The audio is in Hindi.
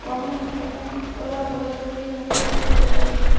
ज्यादा बड़ा बड़ा पेर लोग भी दिखाई दे रहा हैं।